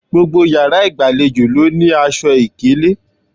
Gbogbo yàrá ìgbàlejò ló ní aṣọ ìkélé